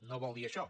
no vol dir això